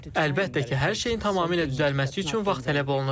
Əlbəttə ki, hər şeyin tamamilə düzəlməsi üçün vaxt tələb olunur.